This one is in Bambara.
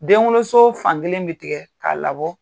Denwoloso fankelen bɛ tigɛ k'a labɔ.